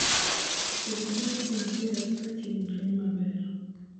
Kodhi dongoga maber ka chieng' rieny maber.